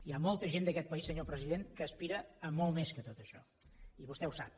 hi ha molta gent d’aquest país senyor president que aspira a molt més que tot això i vostè ho sap